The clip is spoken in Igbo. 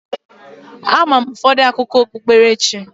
Ama m ụfọdụ akụkọ okpukpe.